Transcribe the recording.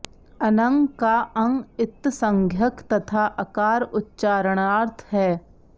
अनङ् का ङ् इत्संज्ञक तथा अकार उच्चारणार्थ है